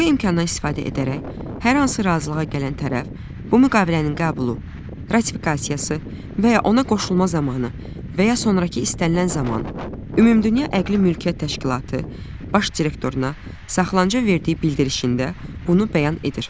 Bu imkandan istifadə edərək, hər hansı razılığa gələn tərəf bu müqavilənin qəbulu, ratifikasiyası və ya ona qoşulma zamanı və ya sonrakı istənilən zaman Ümumdünya Əqli Mülkiyyət Təşkilatı Baş Direktoruna saxlanıcaya verdiyi bildirişində bunu bəyan edir.